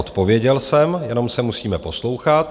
Odpověděl jsem, jenom se musíme poslouchat.